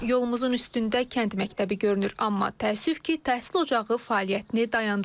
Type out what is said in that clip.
Yolumuzun üstündə kənd məktəbi görünür, amma təəssüf ki, təhsil ocağı fəaliyyətini dayandırıb.